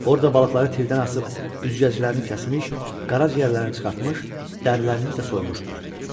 Orada balıqları tirdən asıb, üzgəclərini kəsmiş, qaraciyərlərini çıxartmış, dərilərini də soymuşdular.